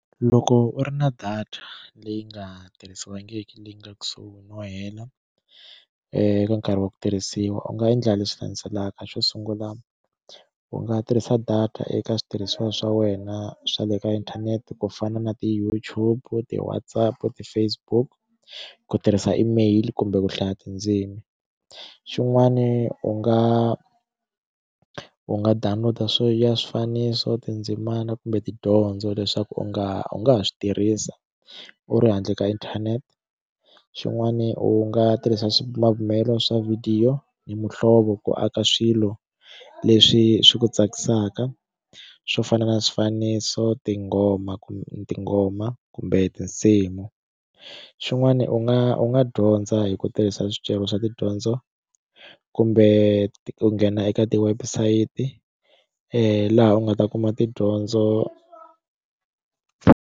Loko u ri na data leyi nga tirhisiwangiki leyi nga kusuhi no hela eka nkarhi wa ku tirhisiwa u nga endla leswi landzelaka xo sungula u nga tirhisa data eka switirhisiwa swa wena swa le ka inthanete ku fana na ti YouTube u ti Whatsapp ti Facebook ku tirhisa email kumbe ku hlaya tindzimi xin'wani u nga u nga download a swo ya swifaniso tindzimana kumbe tidyondzo leswaku u nga u nga ha swi tirhisa u ri handle ka inthanete xin'wani u nga tirhisa swibumabumelo swa vhidiyo ni muhlovo ku aka swilo leswi swi ku tsakisaka swo fana na swifaniso tinghoma kumbe tinghoma kumbe tinsimu xin'wani u nga u nga dyondza hi ku tirhisa swicele swa tidyondzo kumbe ku nghena eka ti website laha u nga ta kuma tidyondzo.